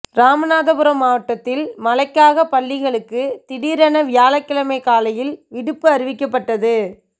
ராமநாதபுரம் மாவட்டத்தில் மழைக்காக பள்ளிகளுக்கு திடீரென வியாழக்கிழமை காலையில் விடுப்பு அறிவிக்கப்பட்டது